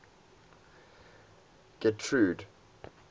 getrude